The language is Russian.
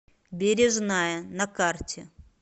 бережная на карте